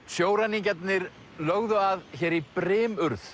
sjóræningjarnir lögðu að hér í